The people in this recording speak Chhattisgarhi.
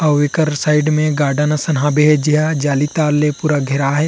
अऊ ऐकर साइड मे गार्डन असन हबे जेह जाली तार ले पूरा घेराए --